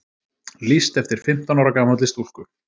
Lýst eftir fimmtán ára gamalli stúlku